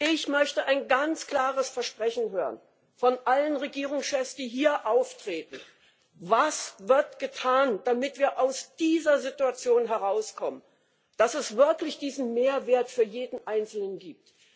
Ich möchte ein ganz klares Versprechen von allen Regierungschefs, die hier auftreten, hören Was wird getan, damit wir aus dieser Situation herauskommen, und es wirklich diesen Mehrwert für jeden einzelnen gibt?